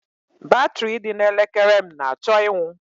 Batrị dị na elekere m na-achọ ịnwụ.